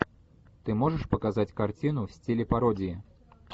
ты можешь показать картину в стиле пародии